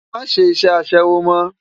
Má ṣé iṣè aṣèwó mò